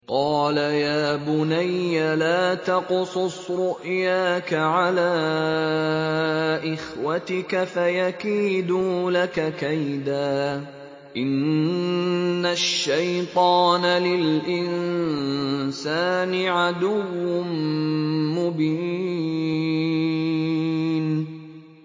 قَالَ يَا بُنَيَّ لَا تَقْصُصْ رُؤْيَاكَ عَلَىٰ إِخْوَتِكَ فَيَكِيدُوا لَكَ كَيْدًا ۖ إِنَّ الشَّيْطَانَ لِلْإِنسَانِ عَدُوٌّ مُّبِينٌ